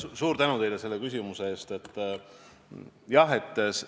Suur tänu teile selle küsimuse eest!